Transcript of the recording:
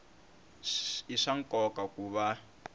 i swa nkoka ku va